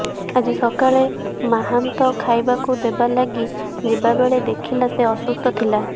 ଆଜି ସକାଳେ ମାହୁନ୍ତ ଖାଇବାକୁ ଦେବା ଲାଗି ଯିବା ବେଳେ ଦେଖିଲା ସେ ଅସୁସ୍ଥ ଥିଲା